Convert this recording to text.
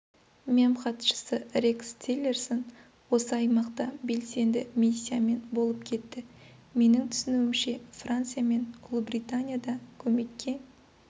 мемхатшысы рекс тиллерсон осы аймақта белсенді миссиямен болып кетті менің түсініуімше франция мен ұлыбритания да көмекке